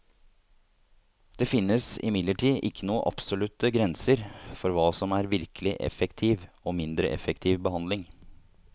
Det finnes imidlertid ikke noen absolutte grenser for hva som er virkelig effektiv og mindre effektiv behandling.